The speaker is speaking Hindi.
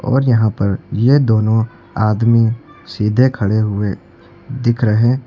और यहाँ पर ये दोनों आदमी सीधे खड़े हुए दिख रहे--